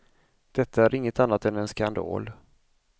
Detta är inget annat än en skandal.